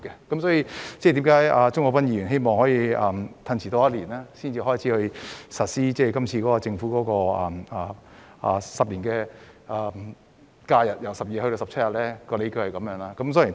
因此，鍾國斌議員希望推遲一年才實施政府在10年內把假日由12天增至17天的計劃，他的理據就是如此。